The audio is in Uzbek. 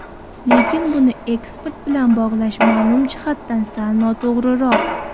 Lekin buni eksport bilan bog‘lash ma’lum jihatdan sal noto‘g‘riroq.